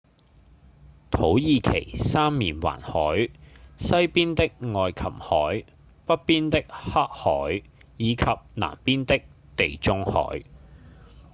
土耳其三面環海：西邊的愛琴海﹑北邊的黑海以及南邊的地中海